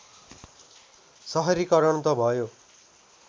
सहरीकरण त भयो